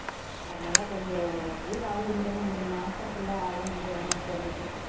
அதனால கொஞ்சம் ஒரு one week ஆகும் இல்லைன்னா இந்த மாசம் full ஆகும்னு நினைக்கிறேன் home work தரதுக்கு